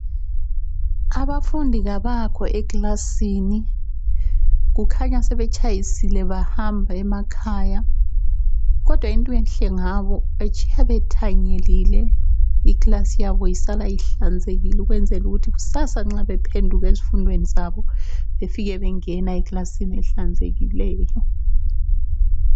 Abafundi kabakho ekilasini, kukhanya sebetshayisile bahamba emakhaya. Kodwa into enhle ngabo, batshiya bethanyelile. Ikilasi yabo isala ihlanzekile ukwenzela ukuthi kusasa nxa bephenduka ezifundweni zabo befike bengena ekilasini ehlanzekileyo.